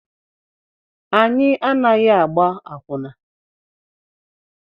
Anyị anaghị agba akwụna.